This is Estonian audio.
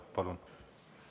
Palun!